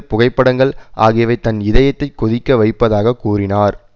புகைப்படங்கள் ஆகியவை தன் இதயத்தை கொதிக்க வைப்பதாகக் கூறினார்